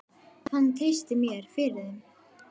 Hann treysti mér fyrir þeim.